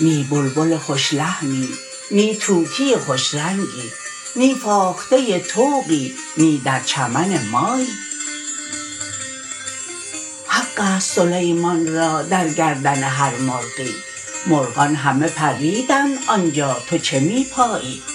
نی بلبل خوش لحنی نی طوطی خوش رنگی نی فاخته طوقی نی در چمن مایی حق است سلیمان را در گردن هر مرغی مرغان همه پریدند آنجا تو چه می پایی